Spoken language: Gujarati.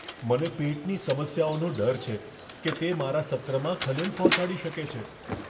મને પેટની સમસ્યાઓનો ડર છે, કે તે મારા સત્રમાં ખલેલ પહોંચાડી શકે છે.